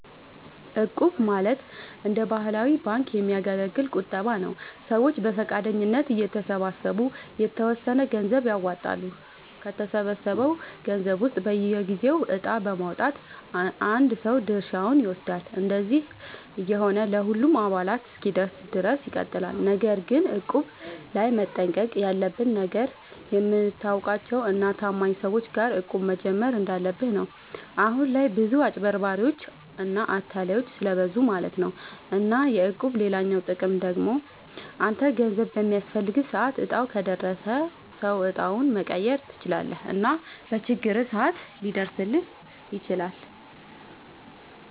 እቁብ ማለት እንደ ባህላዊ ባንክ የሚያገለግል ቁጠባ ነዉ። ሰዎች በፈቃደኝነት እየተሰባሰቡ የተወሰነ ገንዘብ ያዋጣሉ፣ ከተሰበሰበው ገንዘብ ውስጥ በየጊዜው እጣ በማዉጣት አንድ ሰው ድርሻውን ይወስዳል። እንደዚህ እየሆነ ለሁሉም አባላት እስኪደርስ ድረስ ይቀጥላል። ነገር ግን እቁብ ላይ መጠንቀቅ ያለብህ ነገር፣ የምታውቃቸው እና ታማኝ ሰዎች ጋር እቁብ መጀመር እንዳለብህ ነው። አሁን ላይ ብዙ አጭበርባሪዎች እና አታላዮች ስለብዙ ማለት ነው። እና የእቁብ ሌላኛው ጥቅም ደግሞ አንተ ገንዘብ በሚያስፈልግህ ሰዓት እጣው ከደረሰው ሰው እጣውን መቀየር ትችላለህ እና በችግርህም ሰዓት ሊደርስልህ ይችላል።